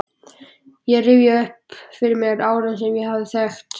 Ég rifjaði upp fyrir mér árin sem ég hafði þekkt